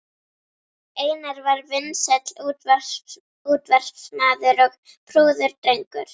Einar var vinsæll útvarpsmaður og prúður drengur.